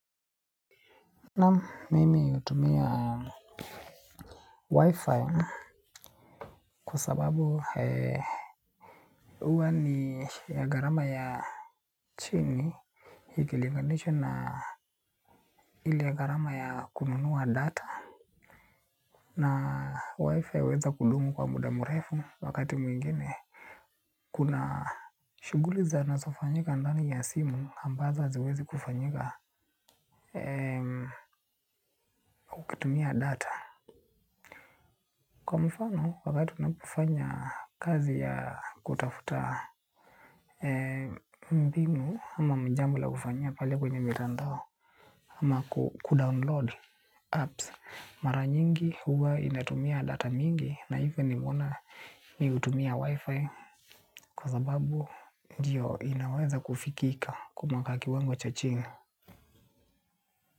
Na mimi utumia wifi kwa sababu uwa ni ya gharama ya chini ikilinganishwa na ile garama ya kununua data. Na wifi uweza kudumu kwa muda murefu wakati mwingine. Kuna shuguli zanaso fanyika ndani ya simu ambazo haziwezi kufanyika. Kutumia data kwa mfano wakati unapofanya kazi ya kutafuta mbinu ama mjambo la kufanyia pale kwenye mitandao. Ama kudownload apps mara nyingi huwa inatumia data mingi. Na even nimeona mi utumia wifi. Kwa sababu ndio inaweza kufikika kufikika kwa kiwango cha chini.